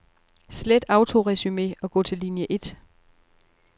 Slet autoresumé og gå til linie et.